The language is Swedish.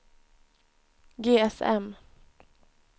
GSM